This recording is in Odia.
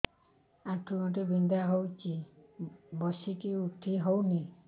ଆଣ୍ଠୁ ଗଣ୍ଠି ବିନ୍ଧା ହଉଚି ବସିକି ଉଠି ହଉନି